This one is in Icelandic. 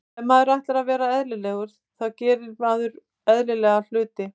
Ef maður ætlar að vera eðlilegur þá gerir maður eðlilega hluti.